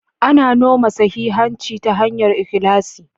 Ana noma sahihanci ta hanyar ikhlasi.